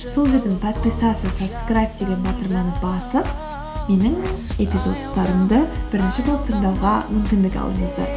сол жерден подписаться сабскрайб деген батырманы басып менің эпизодтарымды бірінші болып тыңдауға мүмкіндік алыңыздар